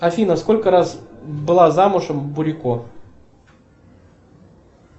афина сколько раз была замужем бурико